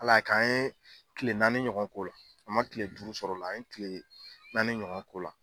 Ala ya kɛ' an ye kile naani ɲɔgɔn ko la, an ma kile duuru sɔrɔ la kile naani ɲɔgɔn ko la.